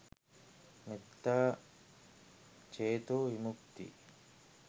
මෙත්තා චේතෝ විමුක්ති